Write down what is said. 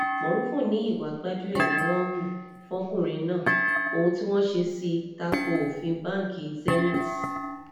morufú ní ìwà gbájú-ẹ̀ ni wọ́n hu fọ́kùnrin náà ohun tí wọ́n ṣe sì ta ko òfin báǹkì zenith